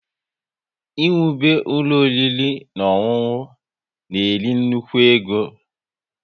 Ị wube ụlọ ọriri na ọṅụṅụ na-eri nnukwu ego